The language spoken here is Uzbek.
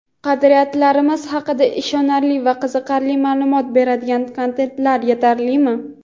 qadriyatlarimiz haqida ishonarli va qiziqarli maʼlumot beradigan kontentlar yetarlimi?.